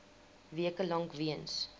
weke lank weens